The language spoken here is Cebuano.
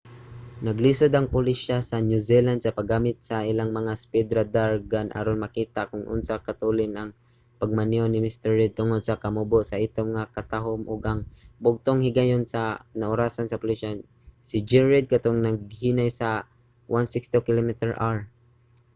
naglisod ang pulisya sa new zealand sa paggamit sa ilang mga speed radar gun aron makita kon unsa katulin ang pagmaneho ni mr reid tungod sa kamubo sa itom nga katahum ug ang bugtong higayon nga naorasan sa pulisya si g. reid katong naghinay siya sa 160km/h